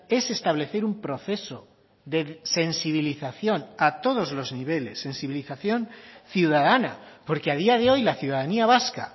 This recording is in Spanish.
es establecer un proceso de sensibilización a todos los niveles sensibilización ciudadana porque a día de hoy la ciudadanía vasca